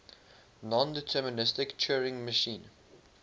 nondeterministic turing machine